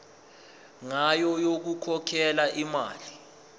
ngayo yokukhokhela imali